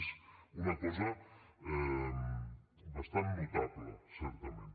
és una cosa bastant notable certament